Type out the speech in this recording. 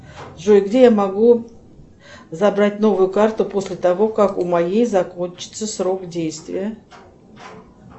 джой где я могу забрать новую карту после того как у моей закончится срок действия